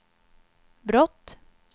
brott